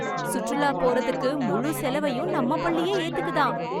சுற்றுலா போறதுக்கு முழு செலவையும் நம்ம பள்ளியே ஏத்துக்குதாம்.